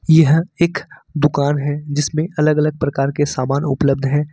यह एक दुकान है जिसमें अलग अलग प्रकार के सामान उपलब्ध है।